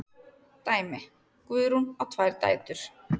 Dæmi: Guðrún á tvær dætur.